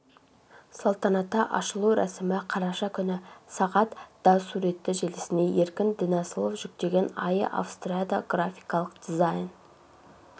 салтанатты ашылу рәсімі қараша күні сағат да суретті желісіне өркен дінасылов жүктеген айя австрияда графикалық дизайн